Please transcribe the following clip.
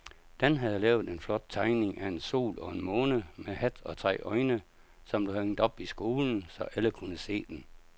Dan havde lavet en flot tegning af en sol og en måne med hat og tre øjne, som blev hængt op i skolen, så alle kunne se den.